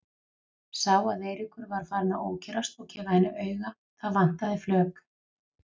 Sá að Eiríkur var farinn að ókyrrast og gefa henni auga, það vantaði flök.